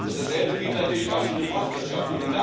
Dasselbe gilt natürlich auch für die Forstwirtschaft.